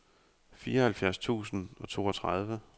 fireoghalvfjerds tusind og toogtredive